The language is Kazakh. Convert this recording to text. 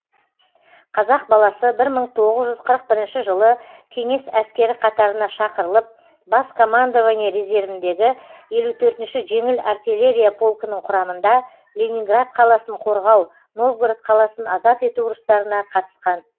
қазақ баласы бір мың тоғыз жүз қырық бірінші жылы кеңес әскері қатарына шақырылып бас командование резервіндегі елу төртінші жеңіл артиллерия полкінің құрамында ленинград қаласын қорғау новгород қаласын азат ету ұрыстарына қатысқан